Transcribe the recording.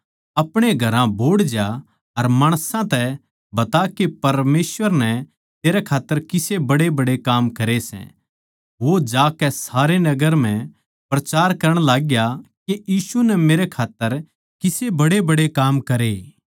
अपणे घरां बोहड़ जा अर माणसां तै बता के परमेसवर नै तेरै खात्तर किसे बड्डेबड्डे काम करे सै वो जाकै सारे नगर म्ह प्रचार करण लाग्या के यीशु नै मेरै खात्तर किसे बड्डेबड्डे काम करे